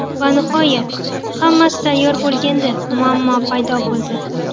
Va nihoyat hammasi tayyor bo‘lganda muammo paydo bo‘ldi.